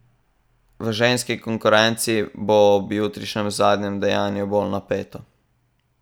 V ženski konkurenci bo ob jutrišnjem zadnjem dejanju bolj napeto.